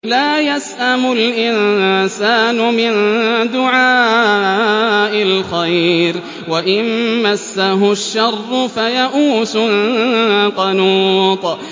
لَّا يَسْأَمُ الْإِنسَانُ مِن دُعَاءِ الْخَيْرِ وَإِن مَّسَّهُ الشَّرُّ فَيَئُوسٌ قَنُوطٌ